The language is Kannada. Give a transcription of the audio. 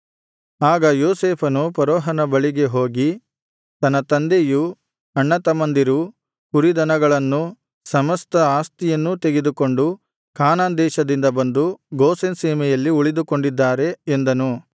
ಆಗ ಯೋಸೇಫನು ಫರೋಹನ ಬಳಿಗೆ ಹೋಗಿ ನನ್ನ ತಂದೆಯೂ ಅಣ್ಣತಮ್ಮಂದಿರೂ ಕುರಿದನಗಳನ್ನೂ ಸಮಸ್ತ ಆಸ್ತಿಯನ್ನೂ ತೆಗೆದುಕೊಂಡು ಕಾನಾನ್‌ ದೇಶದಿಂದ ಬಂದು ಗೋಷೆನ್ ಸೀಮೆಯಲ್ಲಿ ಉಳಿದುಕೊಂಡಿದ್ದಾರೆ ಎಂದನು